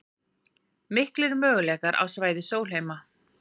Miklir möguleikar á svæði Sólheima